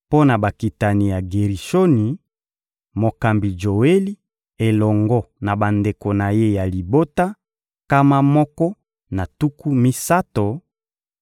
mpo na bakitani ya Gerishoni: mokambi Joeli elongo na bandeko na ye ya libota, nkama moko na tuku misato;